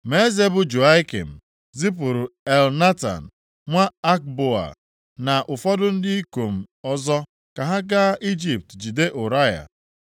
Ma eze bụ Jehoiakim, zipụrụ Elnatan nwa Akboa na ụfọdụ ndị ikom ọzọ ka ha gaa Ijipt jide Ụraya.